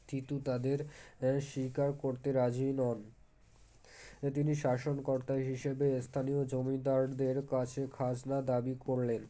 তীতু তাদের এএ স্বীকার করতে রাজি নন তিনি শাসনকর্তা হিসাবে স্থানীয় জমিদারদের কাছে খাজনা দাবি করলেন